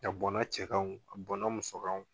A bɔn na cɛ kan o a bɔn na muso kan o